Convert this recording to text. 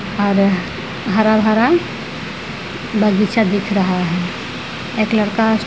और हरा-भरा बगीचा दिख रहा है। एक लड़का --